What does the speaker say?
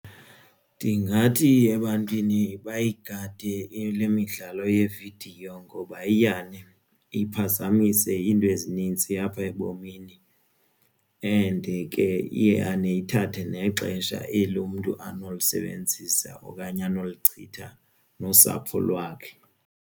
Ndingathi ebantwini bayigade le midlalo yevidiyo ngoba iyane iphazamise iinto ezinintsi apha ebomini and ke iyane ithathe nexesha eli umntu anokulisebenzisa okanye anolichitha nosapho lwakhe.